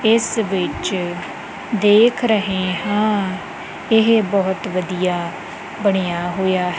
ਇਸ ਵਿੱਚ ਦੇਖ ਰਹੇ ਹਾਂ ਇਹ ਬਹੁਤ ਵਧੀਆ ਬਣਿਆ ਹੋਇਆ--